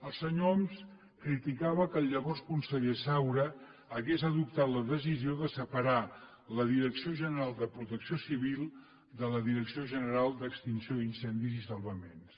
el senyor homs criticava que el llavors conseller saura hagués adoptat la decisió de separar la direcció general de protecció civil de la direcció general d’extinció d’incendis i salvaments